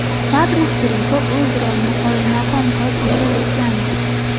Fabris Greko o‘z rolini qoyilmaqom qilib ijro etgandi.